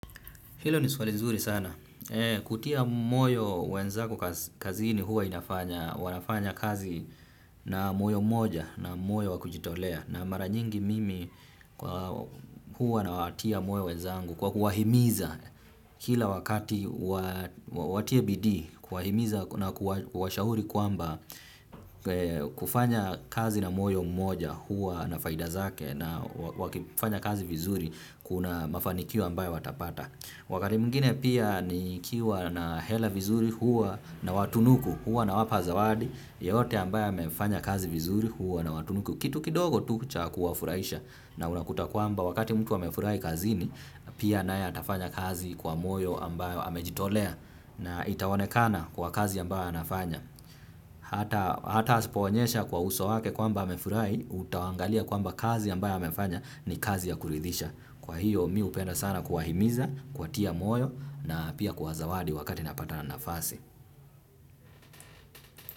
Hilo ni swali nzuri sana. Kutia moyo wenzako kazini huwa inafanya wanafanya kazi na moyo moja na moyo wakujitolea na mara nyingi mimi huwa nawatia moyo wenzangu kwa kuwahimiza kila wakati watie bidii kuwahimiza na kuwashauri kwamba kufanya kazi na moyo mmoja huwa na faida zake na wakifanya kazi vizuri kuna mafanikio ambayo watapata. Wakati mwingine pia nikiwa na hela vizuri hua nawatunuku hua nawapa zawadi yeyote ambaye amefanya kazi vizuri hua nawatunuku kitu kidogo tu cha kuwafurahisha na unakuta kwamba wakati mtu amefurahi kazini pia naye atafanya kazi kwa moyo ambayo amejitolea na itaonekana kwa kazi ambayo anafanya hata hata asipoonyesha kwa uso wake kwamba amefurahi utawangalia kwamba kazi ambayo amefanya ni kazi ya kuridhisha kwa hiyo mi hupenda sana kuwahimiza kuwatia moyo na pia kuwazawadi wakati napata na nafasi.